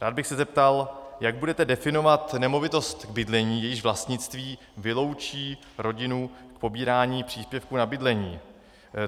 Rád bych se zeptal, jak budete definovat nemovitost k bydlení, jejíž vlastnictví vyloučí rodinu z pobírání příspěvku na bydlení.